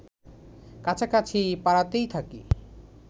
কাছাকাছি পাড়াতেই থাকি